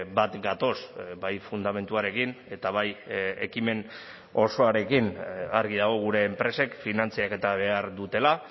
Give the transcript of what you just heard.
bat gatoz bai fundamentuarekin eta bai ekimen osoarekin argi dago gure enpresek finantzaketa behar dutela